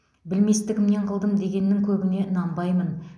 білместігімнен қылдым дегеннің көбіне нанбаймын